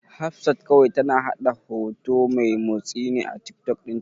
Hafsat kawai tana haɗa hoto mai motsi ne a Tiktok ɗinta.